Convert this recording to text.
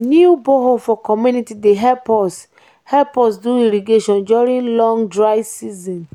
new borehole for community dey help us help us do irrigation during long dry season.